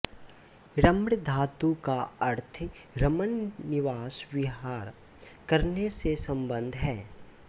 रम् धातु का अर्थ रमण निवास विहार करने से सम्बद्ध है